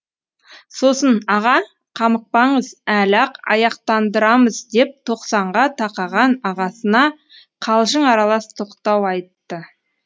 сосын аға қамықпаңыз әлі ақ аяқтандырамыз деп тоқсанға тақаған ағасына қалжың аралас тоқтау айтты